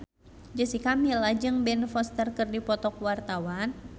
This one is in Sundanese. Jessica Milla jeung Ben Foster keur dipoto ku wartawan